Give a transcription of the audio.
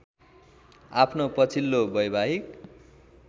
आफ्नो पछिल्लो वैवाहिक